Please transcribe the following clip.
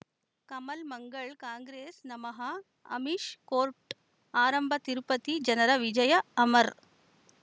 Kamal Mangal Congress ನಮಃ Amish court ಆರಂಭ ತಿರುಪತಿ ಜನರ ವಿಜಯ ಅಮರ್